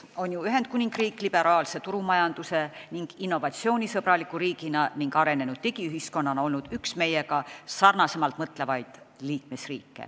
On ju Ühendkuningriik oma liberaalse turumajandusega, innovatsioonisõbraliku riigina ning arenenud digiühiskonnana üks riike, kes meiega üsna sarnaselt mõelnud on.